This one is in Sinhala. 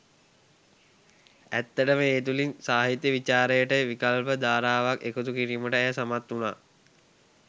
ඇත්තටම ඒ තුළින් සාහිත්‍ය විචාරයට විකල්ප ධාරාවක් එකතු කිරීමට ඇය සමත් වුණා.